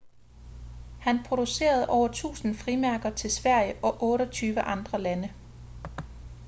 han producerede over 1.000 frimærker til sverige og 28 andre lande